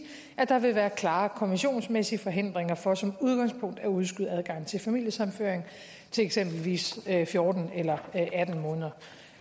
at der vil være klare konventionsmæssige forhindringer for som udgangspunkt at udskyde adgangen til familiesammenføring til eksempelvis fjorten eller